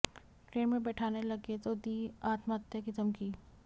train में बैठाने लगे तो दी अात्महत्या की धमकी